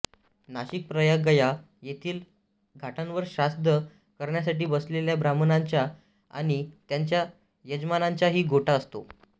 नाशिक प्रयाग गया येथील घाटांवर श्राद्ध करण्यासाठी बसलेल्या ब्राह्मणांचा आणि त्यांच्या यजमानांचाही गोटा असतो